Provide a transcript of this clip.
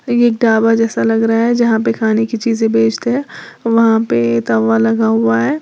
ये तावा जैसा लग रहा है जहां पे खाने की चीज बेचते हैं वहां पे तावा लगा हुआ है।